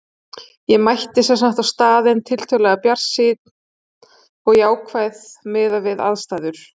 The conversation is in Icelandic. Ég mætti sem sagt á staðinn tiltölulega bjartsýn og jákvæð miðað við aðstæður.